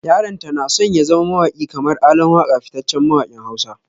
Yaranta na son ya zama mawaki kamar ALAN WAKA fitaccen mawakin Hausa.